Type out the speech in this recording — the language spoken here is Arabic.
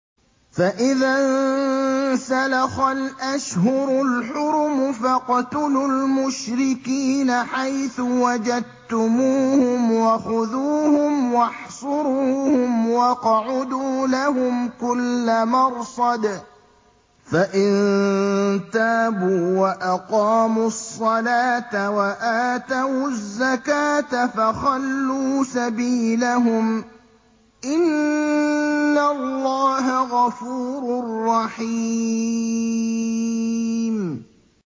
فَإِذَا انسَلَخَ الْأَشْهُرُ الْحُرُمُ فَاقْتُلُوا الْمُشْرِكِينَ حَيْثُ وَجَدتُّمُوهُمْ وَخُذُوهُمْ وَاحْصُرُوهُمْ وَاقْعُدُوا لَهُمْ كُلَّ مَرْصَدٍ ۚ فَإِن تَابُوا وَأَقَامُوا الصَّلَاةَ وَآتَوُا الزَّكَاةَ فَخَلُّوا سَبِيلَهُمْ ۚ إِنَّ اللَّهَ غَفُورٌ رَّحِيمٌ